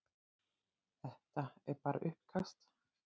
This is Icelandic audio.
Þetta er bara uppkast.